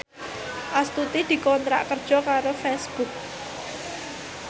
Astuti dikontrak kerja karo Facebook